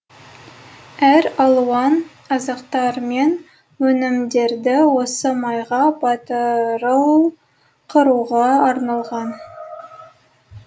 әр алуан азықтар мен өнімдерді осы майға батырыл қуыруға арналған